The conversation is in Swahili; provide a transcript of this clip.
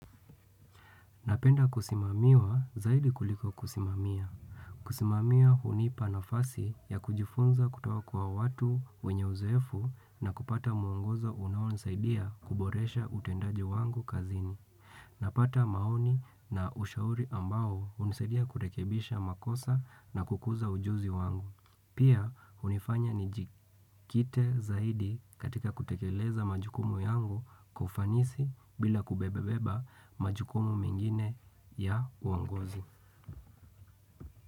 Napenda kusimamiwa zaidi kuliko kusimamiwa. Kusimamiwa hunipa nafasi ya kujifunza kutoka kwa watu wenye uzoefu na kupata muongozo unawonisaidia kuboresha utendaji wangu kazini. Napata maoni na ushauri ambao unisaidia kurekebisha makosa na kukuza ujuzi wangu. Pia unifanya ni jikite zaidi katika kutekeleza majukumu yangu kufanisi bila kubebabeba majukumu mengine ya uangozi.